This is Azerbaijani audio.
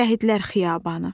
Şəhidlər Xiyabanı.